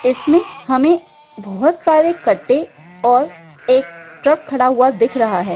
इसमे हमे बहुत सारे कटे और एक ट्रक खड़ा हुआ दिख रहा है।